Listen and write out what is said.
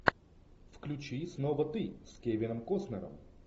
включи снова ты с кевином костнером